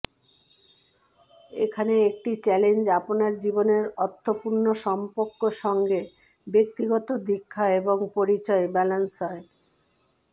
এখানে একটি চ্যালেঞ্জ আপনার জীবনের অর্থপূর্ণ সম্পর্ক সঙ্গে ব্যক্তিগত দীক্ষা এবং পরিচয় ব্যালান্স হয়